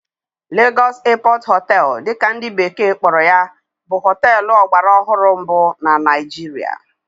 Lagos Airport Hotel' dị ka ndị bekee kpọrọ ya bụ hóteélụ̀ ọgbaraọhụrụ mbụ na Naịjirịa